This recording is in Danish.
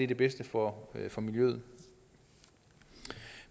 det bedste for for miljøet